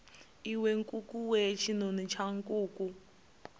iwe nkukuwe tshinoni tsha nkuku